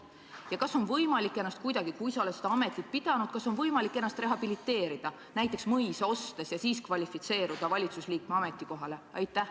Ja kas on võimalik ennast kuidagi rehabiliteerida – juhul, kui ollakse seda ametit pidanud –, näites ostes mõisa, ja siis kvalifitseeruda valitsusliikme ametikohale?